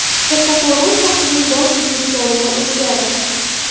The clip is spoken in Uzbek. Kattaqo‘rg‘on shahrining bosh militsioneri o‘zgardi.